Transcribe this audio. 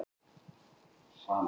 Mest hætta stafaði af rekadrumbum.